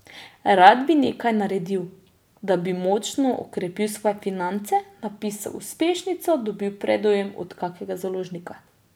Rad bi nekaj naredil, da bi močno okrepil svoje finance, napisal uspešnico, dobil predujem od kakega založnika.